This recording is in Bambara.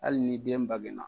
Hali ni den bagena